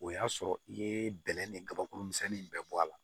O y'a sɔrɔ i ye bɛlɛn ni kabakuru misɛnnin in bɛ bɔ a la